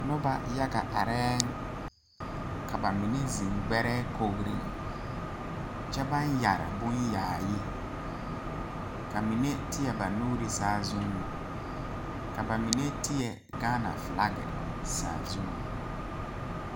Nobɔ yaga arɛɛŋ ka ba mine zeŋ gbɛrɛɛ kogreŋ kyɛ baŋ yɛre bon yaayi ka mine teɛ ba nuure saazuŋ ka ba mine teɛ gaana flaki saazuŋ.